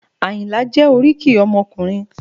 Àyìnlá jẹ́ oríkì ọmọkùnrin